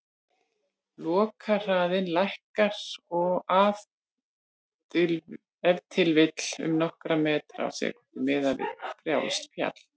Lokahraðinn lækkar ef til vill um nokkra metra á sekúndu, miðað við frjálst fall.